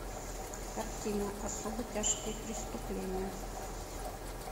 картина особо тяжкие преступления